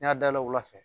N y'a dayɛlɛ o la